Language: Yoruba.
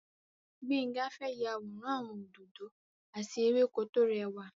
Gbénga fẹ́ ya àwòrán àwọn òdòdó àti ewéko tó rẹwà.